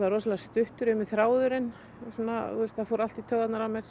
rosalega stuttur í mér þráðurinn það fór allt í taugarnar á mér